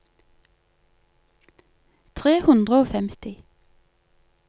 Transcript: tre hundre og femti